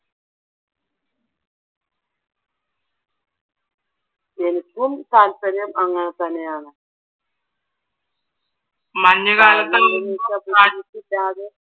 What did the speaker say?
എനിക്കും താൽപ്പര്യം അങ്ങനെത്തന്നെയാണ്